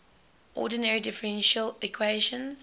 ordinary differential equations